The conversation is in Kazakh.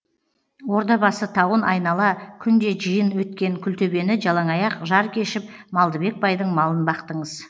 ордабасы тауын айнала күнде жиын өткен күлтөбені жалаңаяқ жар кешіп малдыбек байдың малын бақтыңыз